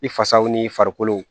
I fasaw n'i farikolo